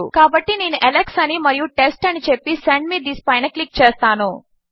కాబట్టి నేను అలెక్స్ అని మరియు టెస్ట్ అని చెప్పి సెండ్ మే థిస్ పైన క్లిక్ చేస్తాను